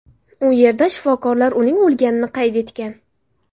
U yerda shifokorlar uning o‘lganini qayd etgan.